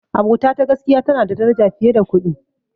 Abota ta gaskiya tana da daraja fiye da kuɗi.